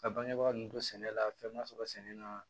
Ka bangebaa ninnu don sɛnɛ la fɛn ma sɔrɔ sɛnɛ na